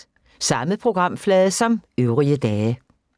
Samme programflade som øvrige dage